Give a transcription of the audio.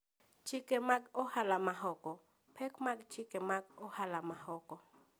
Chike mag Ohala maoko: Pek mag chike mag ohala maoko.